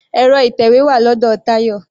Ẹ̀rọ ìtẹ̀wé wà lọ́dọ̀ Tayọ.